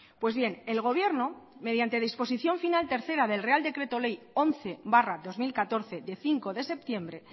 pues bien el gobierno mediante disposición final tercera del real decreto ley once barra dos mil catorce de cinco de septiembre